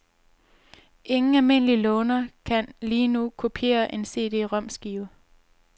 Ingen almindelig låner kan, lige nu, kopiere en CDromskive.